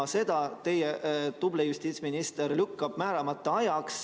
Aga seda teie tubli justiitsminister lükkab edasi määramata ajaks.